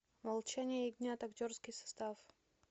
молчание ягнят актерский состав